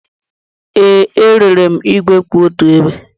Ee, erere m igwe kwụ otu ebe.